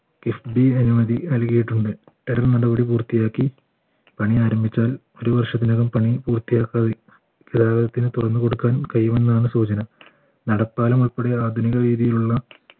FB അനുമതി നൽകിയിട്ടുണ്ട് നടപടി പൂർത്തിയാക്കി പണി ആരംഭിച്ചാൽ ഒരു വർഷത്തിനകം പണി പൂർത്തിയാക്കാതെ കേരളത്തിന് തുറന്നുകൊടുക്കാൻ കഴിയുമെന്നാണ് സൂചന നടപ്പാലം ഉൾപ്പെടെ ആധുനിക രീതിയിലുള്ള